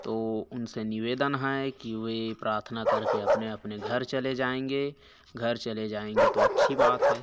तो उन से निवेदन है की वे प्रार्थना करके अपने अपने घर चले जाएंगे घर चले जाएंगे तो अच्छी बात है।